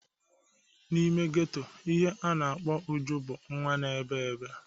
N'ime geto, ihe a na-akpọ Uju bụ nwa na-ebe ebe.